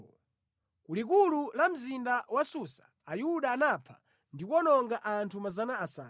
Ku likulu la mzinda wa Susa, Ayuda anapha ndi kuwononga anthu 500.